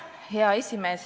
Hea esimees!